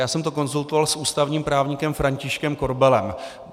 Já jsem to konzultoval s ústavním právníkem Františkem Korbelem.